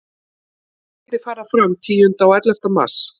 Leikirnir fara fram tíunda og ellefta mars.